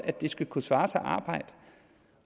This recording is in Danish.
det skal kunne svare sig arbejde